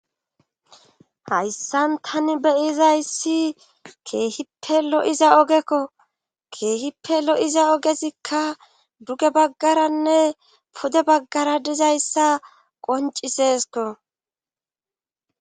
Hayssan tani beyizayssi keehippe lo7iza ogekko keehippe lo7iza ogesikka duge baggaranne pude baggara dizayssa qoncisesko.